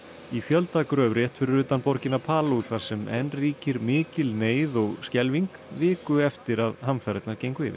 í fjöldagröf rétt fyrir utan borgina þar sem enn ríkir mikil neyð og skelfing viku eftir að hamfarirnar gengu yfir